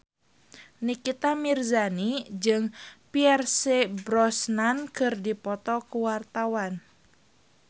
Nikita Mirzani jeung Pierce Brosnan keur dipoto ku wartawan